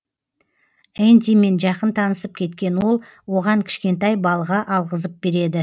эндимен жақын танысып кеткен ол оған кішкентай балға алғызып береді